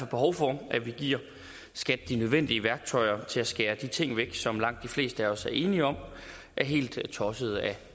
behov for at vi giver skat de nødvendige værktøjer til at skære de ting væk som langt de fleste af os er enige om er helt tossede